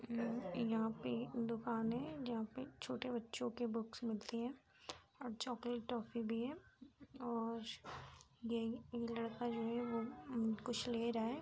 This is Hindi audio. उम्म यहाँ पे दुकान है जहाँ पे छोटे बच्चों के बुक्स मिलती हैं और चॉकलेट टॉफ़ी भी है और ये ये लड़का जो है वो कुछ ले रहा है।